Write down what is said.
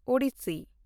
Odyssey